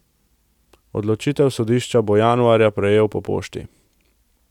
Odločitev sodišča bo januarja prejel po pošti.